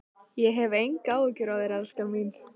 Ég hef engar áhyggjur af þér, elskan mín.